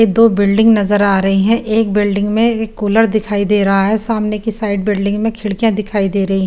दो बिल्डिंग नज़र आ रही है एक बिल्डिंग में कूलर दिखाई दे रहा है सामने के साइड बिल्डिंग में खीडकिया नज़र आ रही है।